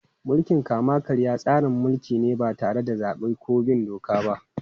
Mulkin kama-karya tsarin mulki ne ba tare da zabe ko bin doka ba.